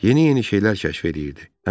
Yeni-yeni şeylər kəşf eləyirdi.